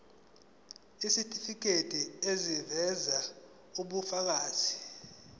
isitifiketi eziveza ubufakazi